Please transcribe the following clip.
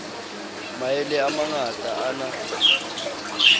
maele a mangata a na